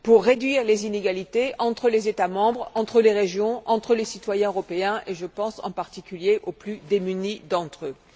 réduire les inégalités entre les États membres, entre les régions, entre les citoyens européens et, je pense, en particulier, aux plus démunis d'entre eux.